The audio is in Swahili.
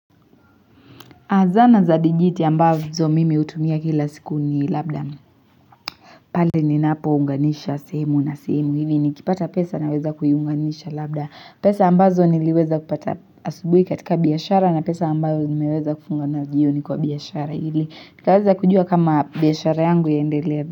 Azana za digiti ambazo mimi utumia kila siku ni labda. Pale ni napo unganisha simu na simu. Hivi ni kipata pesa na weza kuyunganisha labda. Pesa ambazo niliweza kupata asubui katika biyashara na pesa ambazo nimeweza kufunga nayojioni kwa biyashara hili. Nikaweza kujua kama biyashara yangu ya ndelele.